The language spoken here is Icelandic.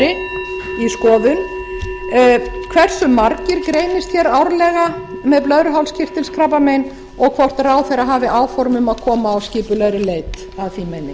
skoðun hversu margir greinist hér árlega með blöðruhálskirtilskrabbamein og hvort ráðherra hafi áform um að koma á skipulagðri leit að því meini